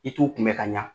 I t'u kunbɛ ka ɲa